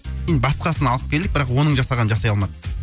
енді басқасын алып келдік бірақ оның жасағанын жасай алмады